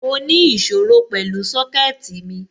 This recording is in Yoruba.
Mo ní ìṣòro pẹ̀lú Sọ́kẹ̀tì mi